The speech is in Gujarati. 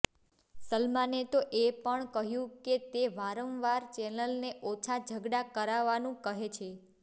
સલમાને તો એ પણ કહ્યું કે તે વારંવાર ચેનલને ઓછા ઝગડા કરાવાનું કહે છે